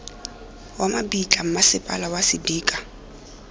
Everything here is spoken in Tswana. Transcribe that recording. wa mabitla mmasepala wa sedika